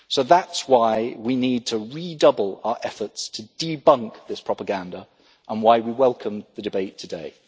That is why we need to redouble our efforts to debunk this propaganda and why we welcome the debate today.